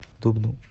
дубну